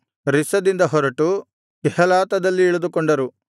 ರಿಸ್ಸದಿಂದ ಹೊರಟು ಕೆಹೇಲಾತದಲ್ಲಿ ಇಳಿದುಕೊಂಡರು